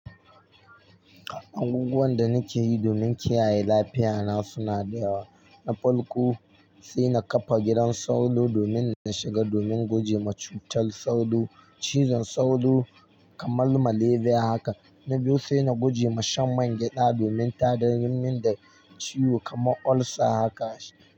Abubuwan da na ke yi domin kiyaye lafiyata suna da yawa. Na farko sai na kafa gidan sauro domin na shiga domin guje ma cutar sauro, cizon sauro kamar maleriya haka. Na biyu sai na gujema shan man gyaɗa domin ta dar min da ciwo kamar ulcer haka.